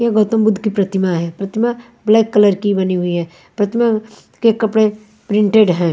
यह गौतम बुद्ध कि प्रतिमा है प्रतिमा ब्लैक कलर की बनी हुई है प्रतिमा के कपड़े प्रिंटेड हैं।